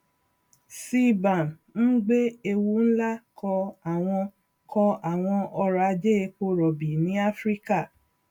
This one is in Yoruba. cbam ń gbé ewu ńlá kọ àwọn kọ àwọn ọrọ ajé epo rọbì ní áfíríkà